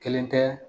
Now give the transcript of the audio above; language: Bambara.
Kelen tɛ